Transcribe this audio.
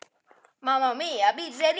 Annars verð ég of þreytt.